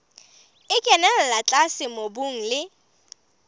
e kenella tlase mobung le